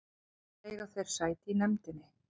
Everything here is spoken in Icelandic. Báðir eiga þeir sæti í nefndinni